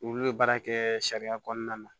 Olu bɛ baara kɛ sariya kɔnɔna na